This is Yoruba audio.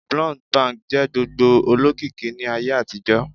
Blunt bangs jẹ gbogbo olokiki ni Aye àtijó